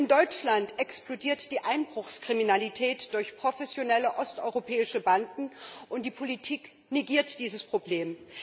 In Deutschland explodiert die Einbruchskriminalität durch professionelle osteuropäische Banden, und die Politik negiert dieses Problem.